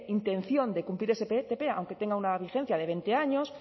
intención de cumplir ese ptp aunque tenga una vigencia de veinte años